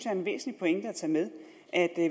er en væsentlig pointe at tage med at